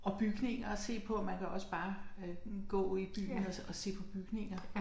Og bygninger at se på man kan også bare øh gå i byen og og se på bygninger